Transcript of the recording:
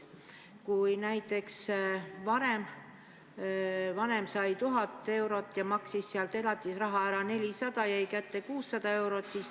Kui näiteks vanem sai enne 1000 eurot ja maksis sealt elatisraha 400 ära, jäi talle kätte 600 eurot.